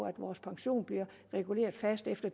at vores pension bliver reguleret fast efter